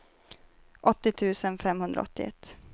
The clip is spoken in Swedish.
åttio tusen femhundraåttioett